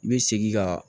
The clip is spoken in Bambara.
I bɛ segin ka